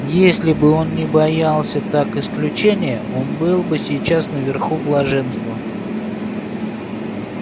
если бы он не боялся так исключения он был бы сейчас наверху блаженства